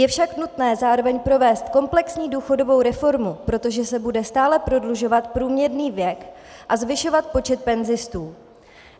Je však nutné zároveň provést komplexní důchodovou reformu, protože se bude stále prodlužovat průměrný věk a zvyšovat počet penzistů.